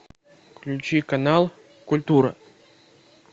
включи канал культура